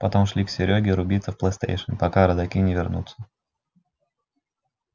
потом шли к серёге рубиться в плейстейшн пока родаки не вернутся